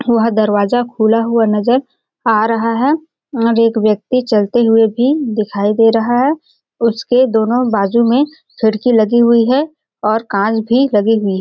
वह दरवाजा खुला हुआ नजर आ रहा है और एक व्यक्ति चलते हुए भी दिखाई दे रहा है उसके दोनों बाजू में खिड़की लगी हुई है और कांच भी लगी हुई है।